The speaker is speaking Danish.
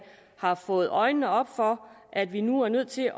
har fået øjnene op for at vi nu er nødt til